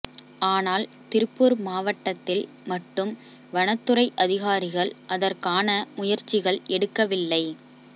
ஆனால் திருப்பூா் மாவட்டத்தில் மட்டும் வனத் துறை அதிகாரிகள் அதற் கான முயற்சிகள் எடுக்கவில்லை